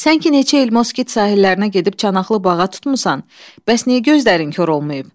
Sən ki neçə il moskit sahillərinə gedib çanaqlı bağa tutmusan, bəs niyə gözlərin kor olmayıb?